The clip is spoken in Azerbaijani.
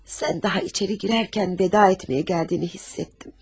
Sən daha içəri girərkən vida etməyə gəldiyini hiss etdim.